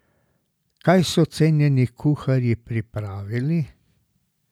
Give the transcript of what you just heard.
Kaj so cenjeni kuharji pripravili?